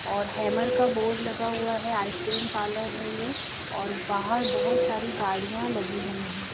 और हैमर का बोर्ड लगा हुआ है आइसक्रीम पार्लर है ये और बाहर बहुत सारी गाड़ियां लगी हुई हैं।